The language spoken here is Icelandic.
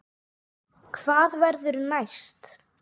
Hvað verður næst?